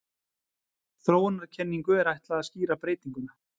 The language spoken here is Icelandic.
Þróunarkenningu er ætlað að skýra breytinguna.